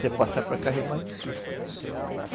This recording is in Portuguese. Se passar para cá, já é mais difícil.